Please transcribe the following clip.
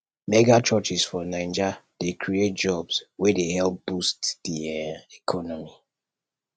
megachurches for naija dey create jobs wey dey help boost di um economy